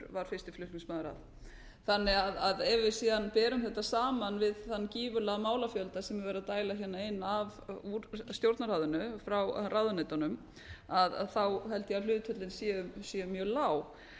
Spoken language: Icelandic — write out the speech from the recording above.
var fyrsti flutningsmaður að ef við síðan berum þetta saman við þann gífurlega málafjölda sem verið er að dæla hingað inn úr stjórnarráðinu frá ráðuneytunum þá held ég að hlutföllin séu mjög lág